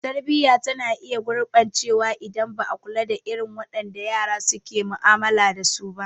Tarbiyya tana iya gurɓacewa idan ba a kula da irin wadanda yara suke mu'amala dasu ba.